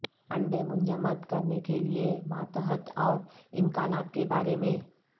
انڈے منجمد کرنے کے لئے ماتحت اور امکانات کے بارے میں